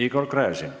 Igor Gräzin.